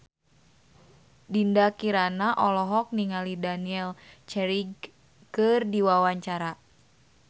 Dinda Kirana olohok ningali Daniel Craig keur diwawancara